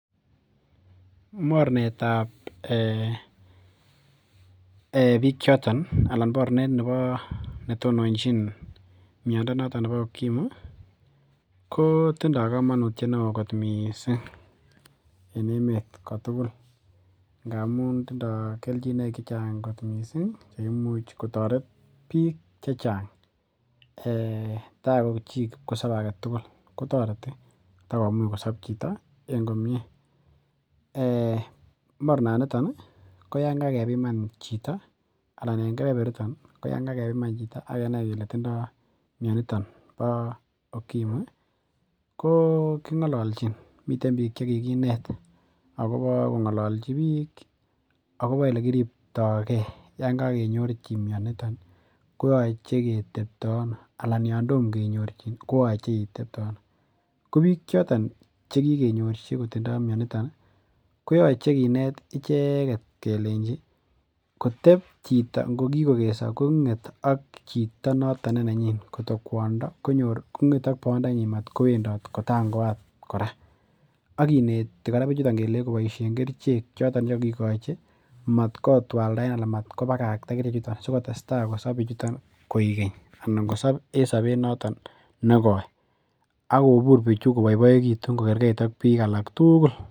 Mornetab biik choton anan mornet nebo netononjin miondo noton nebo ukimwi kotindoo komonutiet neoo kot missing en emet kotugul ngamun tindoo kelchinoik chechang kot missing cheimuch kotoret biik chechang tai ko chii kipkosobe aketugul kotoreti kotakomuch kosop chito en komie. Mornaniton oh ko yan kakepiman chito anan en kebeberiton ko yan kakepiman chito akenai kele tindoo mioniton bo ukimwi ko kong'olonchin miten biik chekikinet akobo kong'olonchi biik akobo elekiriptogee yon kakenyorchin mioniton kooche keteptoo ano anan yan tom kenyorchin kooche itepte ano ko biik choton chekikenyorchi kotindoo mioniton ih kooche kinet icheket kelenji kotep chito ngo kikokeso kong'et ak chito noton ne nenyin koto kwondo konyor kong'et ak boyondenyin mat kowendot kotangoat kora ak kineti bichuton kora kelei koboisien kerichek choton chekokikochi matkotwaldaen anan matkobakakta kerichek chuton sikotestai bichuton kosop koikeny anan kosop en sobet noton nekoi ak kobur bichu koboiboekitun kokerkeit ak biik alak tugul